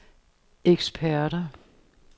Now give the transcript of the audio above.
eksperter